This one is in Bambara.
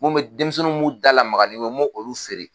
Mun me denmisɛnnun m'u dalamaga nin mun ye n m'o olu feere.